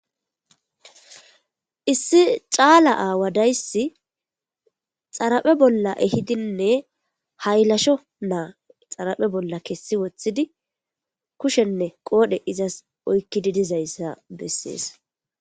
Issi caala aaw daysi xaraphe bolla ehidinne haylasho na xaraphe bolla kesi wothidi kushenw qoodhe izasi oykidi dizaysa besesi.